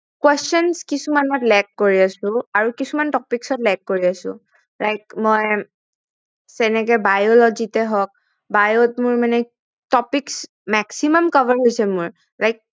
Questions কিছুমান মই lap কৰি আছো আৰু কিছুমান topics ত মই lap কৰি আছো like মইৰ্যেনেকে biology তে হওক bio ত মোৰ মানে topics maximum cover হৈছে মোৰ